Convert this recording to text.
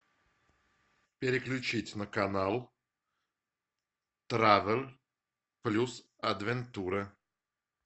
переключить на канал травел плюс адвентура